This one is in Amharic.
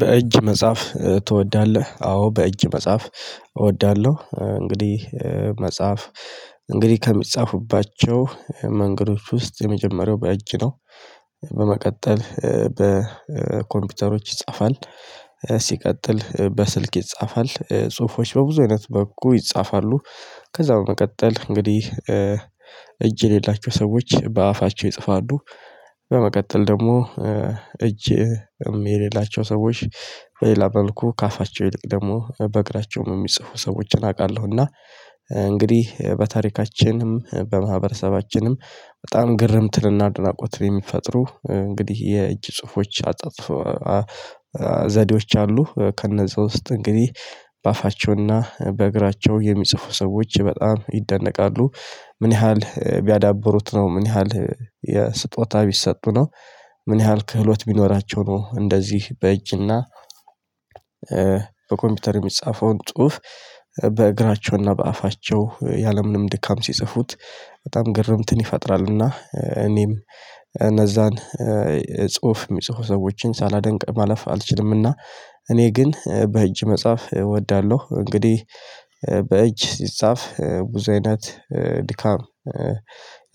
በእጅ መጽሐፍ ትወዳለህ? አዎ በእጅ መጽሐፍ እወዳለሁ። እንግዲህ መጽሐፍ እንግዲህ ከሚጻፉባቸው መንገዶች ውስጥ የመጀመሪያው በእጅ ነው። በመቀጠል በኮምፒውተሮች ይጻፋል። ሲቀጥል በስልክ ይጻፋል ጽሁፎች በብዙ አይነት መልኩ ይጻፋሉ። ከዛ በመቀጠል እንግዲህ እጅ የሌላቸው ሰዎች በአፋቸው ይጽፋሉ። በመቀጠል ደግሞ እጅም የሌላቸው ሰዎች በሌላ መልኩ ከአፋቸው ይልቅ ደግሞ በእግራቸውም የሚጽፉ ሰዎችን አውቃለሁ። እና እንግዲህ በታሪካችንም በማህበረሰባችንም በጣም ግርምትንና አድናቆትን የሚፈጥሩ እንግዲህ የእጅ ጽሁፎች አጣጥፎ ዘዴዎች አሉ። ከነዛ ውስጥ እንግዲህ በአፋቸውና በእግራቸው የሚጽፉ ሰዎች በጣም ይደነቃሉ። ምን ያህል ቢያዳብሩት ነው ምን ያህል የስጦታ ቢሰጡ ነው? ምን ያህል ክህሎት ቢኖራቸው ነው? እንደዚህ በእጅና በኮምፒውተር የሚጻፈውን ጽሁፍ በእግራቸውና በአፋቸው ያለምንም ድካም ሲጽፉት በጣም ግርምትን ይፈጥራልና። እኔም እነዛን ጽሁፍ የሚጽፉ ሰዎችን ሳላደንቅ ማለፍ አልችልምና። እኔ ግን በእጅ መጽሐፍ እወዳለሁ። እንግዲህ በእጅ ሲጻፍ ብዙ አይነት ድካም